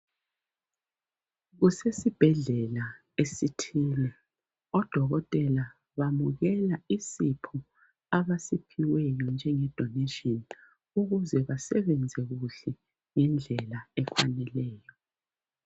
Kusesibhedlela esithile odokotela bamukela isipho abasiphiweyo njenge donation ukuze basebenze kuhle ngendlela efaneleyo.